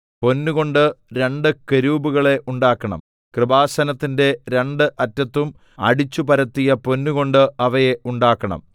പൊന്നുകൊണ്ട് രണ്ട് കെരൂബുകളെ ഉണ്ടാക്കണം കൃപാസനത്തിന്റെ രണ്ട് അറ്റത്തും അടിച്ചുപരത്തിയ പൊന്നുകൊണ്ട് അവയെ ഉണ്ടാക്കണം